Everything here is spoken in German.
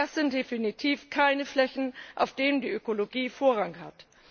Das sind definitiv keine Flächen, auf denen die Ökologie Vorrang hat.